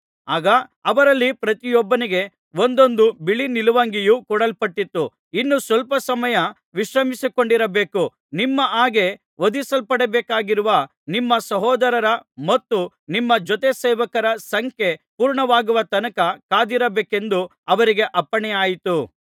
ಆಗ ಅವರಲ್ಲಿ ಪ್ರತಿಯೊಬ್ಬನಿಗೆ ಒಂದೊಂದು ಬಿಳೀ ನಿಲುವಂಗಿಯು ಕೊಡಲ್ಪಟ್ಟಿತು ಇನ್ನೂ ಸ್ವಲ್ಪ ಸಮಯ ವಿಶ್ರಮಿಸಿಕೊಂಡಿರಬೇಕು ನಿಮ್ಮ ಹಾಗೆ ವಧಿಸಲ್ಪಡಬೇಕಾಗಿರುವ ನಿಮ್ಮ ಸಹೋದರರ ಮತ್ತು ನಿಮ್ಮ ಜೊತೆ ಸೇವಕರ ಸಂಖ್ಯೆ ಪೂರ್ಣವಾಗುವ ತನಕ ಕಾದಿರಬೇಕೆಂದು ಅವರಿಗೆ ಅಪ್ಪಣೆಯಾಯಿತು